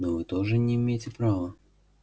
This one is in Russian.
но вы тоже не имеете права